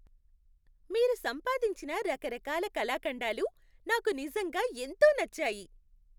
మీరు సంపాదించిన రకరకాల కళాఖండాలు నాకు నిజంగా ఎంతో నచ్చాయి.